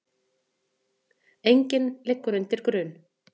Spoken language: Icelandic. Enginn liggur undir grun